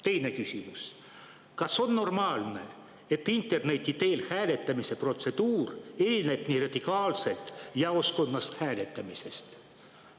Teine küsimus: kas on normaalne, et interneti teel hääletamise protseduur erineb nii radikaalselt jaoskonnas hääletamisest?